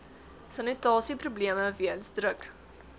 sanitasieprobleme weens druk